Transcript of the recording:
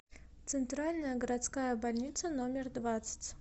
центральная городская больница номер двадцать